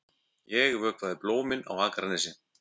Ég vökvaði blómin á Akranesi.